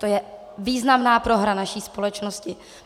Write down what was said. To je významná prohra naší společnosti.